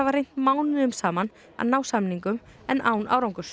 reynt mánuðum saman að ná samningum en án árangurs